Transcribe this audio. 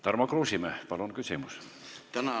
Tarmo Kruusimäe, palun küsimus!